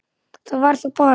Það var þá bara